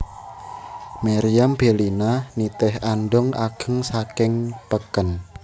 Meriam Bellina nitih andhong ageng saking peken